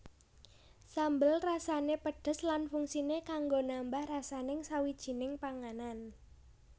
Sambel rasané pedhes lan fungsiné kanggo nambah rasaning sawijining panganan